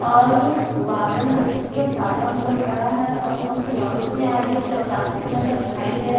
और बादल है जो पूरा सादा हुआ पड़ा है और थोड़ा सा रौशनी आ रही है जो आकाशी कलर का दिखाई दे रहा है।